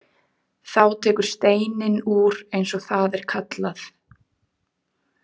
Þá tekur steininn úr eins og það er kallað.